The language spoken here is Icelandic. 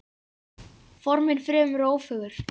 Formin fremur ófögur.